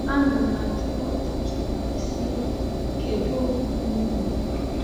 Ana m-ajụ ha ọtụtụ mgbe, sị: “Kedu okpukpe unu?”